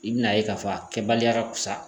I bin'a ye k'a fɔ a kɛbaliya ka fisa